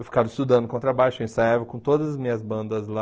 Eu ficava estudando contrabaixo, ensaiava com todas as minhas bandas lá.